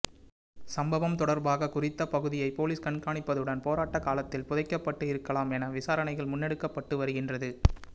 சம்பவம் தொடர்பாக குறித்த பகுதியை பொலிஸ் கண்காணிப்பதுடன் போராட்ட காலத்தில் புதைக்கப்பட்டு இருக்கலாம் என விசாரணைகள் முன்னெடுக்கப்பட்டு வருகின்றது